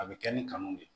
A bɛ kɛ ni kanu de ye